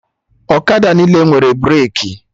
Ọkada niile nwere breki